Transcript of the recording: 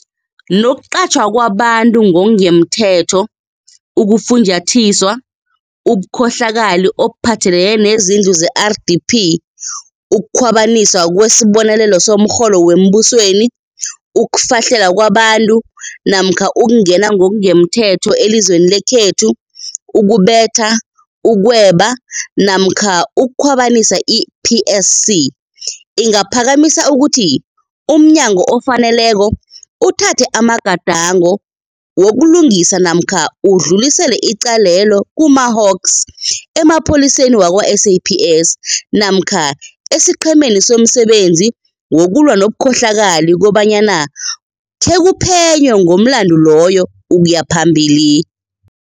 Nokuqatjhwa kwabantu ngokungamthetho, ukufunjathiswa, ubukhohlakali obuphathelene nezindlu ze-RDP, ukukhwabaniswa kwesibonelelo somrholo wembusweni, ukufahlela kwabantu, ukungena ngokungemthetho elizweni lekhethu, ukubetha, ukweba namkha ukukhwabanisa, i-PSC ingaphakamisa ukuthi umnyango ofaneleko uthathe amagadango wokulungisa namkha udlulisele icalelo kuma-HAWKS, emapholiseni wakwa-SAPS namkha esiQhemeni somSebenzi wokuLwa nobuKhohlakali kobanyana khekuphenywe ngomlandu loyo ukuyaphambili.